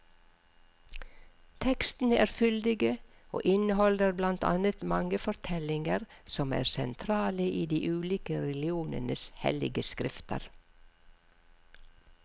Tekstene er fyldige, og inneholder blant annet mange fortellinger som er sentrale i de ulike religionenes hellige skrifter.